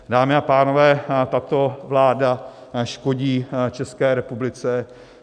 Dámy a pánové, tato vláda škodí České republice.